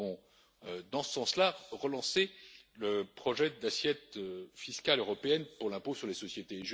Nous avons, dans ce sens là, relancé le projet d'assiette fiscale européenne pour l'impôt sur les sociétés.